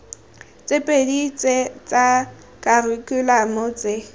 tse pedi tsa kharikhulamo tse